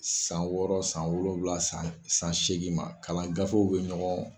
San wɔɔrɔ, san wolonwula, san san segin ma, kalan gafew be ɲɔgɔn